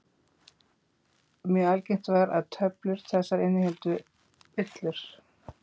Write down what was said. Mjög algengt var að töflur þessar innihéldu villur.